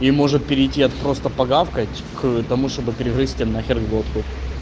и может перейти от просто погавкать к тому чтобы перегрызть ээ нахер глотку